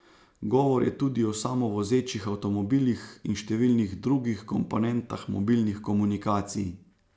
Govor je tudi o samovozečih avtomobilih in številnih drugih komponentah mobilnih komunikacij.